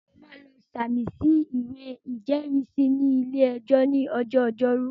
Mo máa lọ sàmì sí ìwé ìjẹ́rìísí ní ilé-ẹjọ́ ní ọjọ́ ọjọ́rú